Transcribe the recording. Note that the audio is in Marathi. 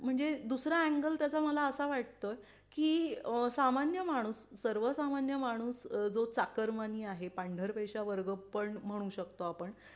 म्हणजे दुसरा अँगल त्याचा मला असं वाटतोय की सामान्य माणूस सर्वसामान्य माणूस जो चाकरमानी आहे पांढरपेशा वर्ग पण म्हणू शकतो आपण